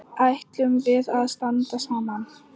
Ætlum við að standa saman?